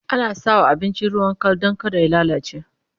ana sawa abinci ruwan Kal Dan kada ya lallace